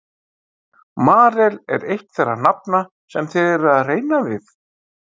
Marel er eitt þeirra nafna sem þið eruð að reyna við?